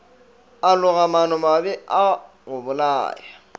a loga maanomabe a gobolaya